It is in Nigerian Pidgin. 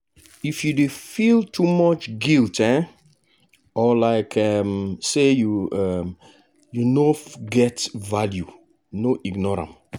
if you dey feel too much guilt um or like um say um you no get value no ignore am.